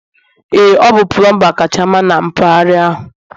ee ọ bụ pulumba kacha mma na mpaghara ahụ